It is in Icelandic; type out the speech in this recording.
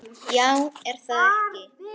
Já er það ekki?